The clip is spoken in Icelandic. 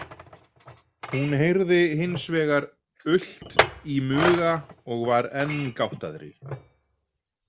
Hún heyrði hins vegar ult í muga og var enn gáttaðri.